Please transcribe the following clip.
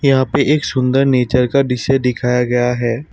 यहां पे एक सुंदर नेचर का दिश्य दिखाया गया है।